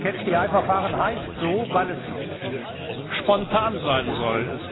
Das Verfahren heißt so, weil es spontan sein soll.